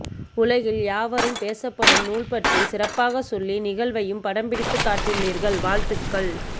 உலகில் யாவரும்பேசப்படும் நூல்பற்றி சிறப்பாக சொல்லி நிகழ்வையும் படம் பிடித்து காட்டியுள்ளீர்கள் வாழ்த்துக்கள்